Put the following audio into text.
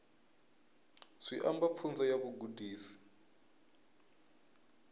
zwi amba pfunzo ya vhugudisi